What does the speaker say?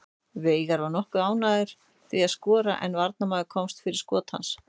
Veigar var nokkuð nálægt því að skora en varnarmaður komst fyrir skot hans.